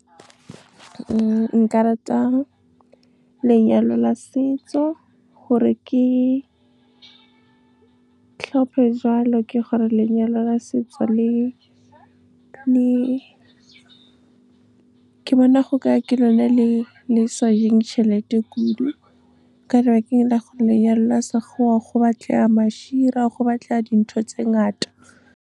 Nna nka rata lenyalo la setso, gore ke tlhope jwalo, ke gore lenyalo la setso ke bona go ka re ke lone le sa jeng tšhelete kudu, ka lebaka la gore lenyalo la Sekgowa go batlega go batlega dintho tse ngata. Nna nka rata lenyalo la setso, gore ke tlhope jwalo, ke gore lenyalo la setso ke bona go ka re ke lone le sa jeng tšhelete kudu, ka lebaka la gore lenyalo la Sekgowa go batlega go batlega dintho tse ngata.